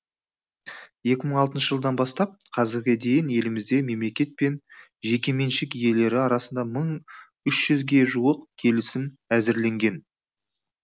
екі мың алтыншы жылдан бастап қазірге дейін елімізде мемлекет пен жекеменшік иелері арасында мың үш жүзге жуық келісім әзірленген